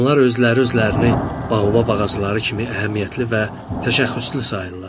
Onlar özləri-özlərini baobab ağacları kimi əhəmiyyətli və təşəxxüslü sayırlar.